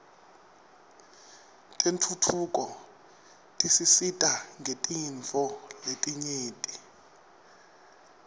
tentfutfuko tisisita ngetintfo letinyenti